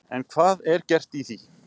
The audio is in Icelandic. En hvað er gert í því?